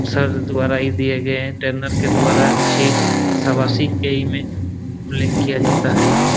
Sir द्वारा ये दिए जाते हैट्रेनर के द्वारा अच्छी शाबाशी के ई में उल्लेख किया जाता है।